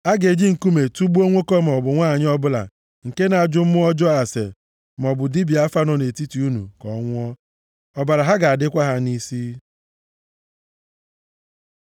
“ ‘A ga-eji nkume tugbuo nwoke maọbụ nwanyị ọbụla nke na-ajụ mmụọ ọjọọ ase, maọbụ dibịa afa nọ nʼetiti unu ka ọ nwụọ. Ọbara ha ga-adịkwa ha nʼisi.’ ”